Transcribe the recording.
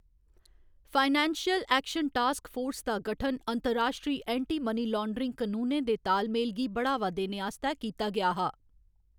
Financial Action Task Force दा गठन अंतर्राश्ट्री ऐंटी मनी लान्ड्रिंग कनूनें दे तालमेल गी बढ़ावा देने आस्तै कीता गेआ हा।